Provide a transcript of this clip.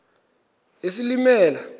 isilimela